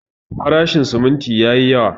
Farashin siminti yayi yawa.